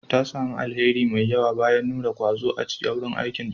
Ta sami alheri mai yawa bayan nuna ƙwazo a wurin aikinta.